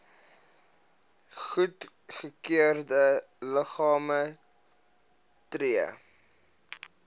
goedgekeurde liggame tree